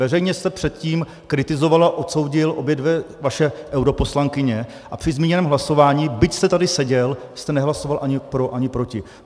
Veřejně jste předtím kritizoval a odsoudil obě dvě vaše europoslankyně a při zmíněném hlasování, byť jste tady seděl, jste nehlasoval ani pro ani proti.